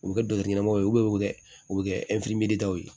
U bɛ kɛ dɔkitɛriw ye u bɛ wɛ u u bɛ kɛ ye